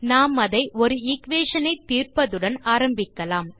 நாம் அதை ஒரு எக்வேஷன் ஐ தீர்ப்பதுடன் ஆரம்பிக்கலாம்